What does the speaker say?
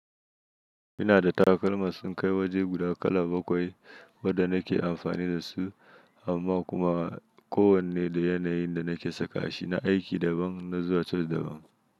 Ina da takalma sun kai waje guda kala bakwai wadda na ke amfani da su amma kuma kowanne da yanayin da na ke saka shi na aiki daban na zuwa coci daban.